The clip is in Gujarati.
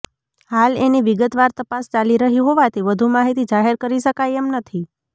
હાલ એની વિગતવાર તપાસ ચાલી રહી હોવાથી વધુ માહિતી જાહેર કરી શકાય એમ નથી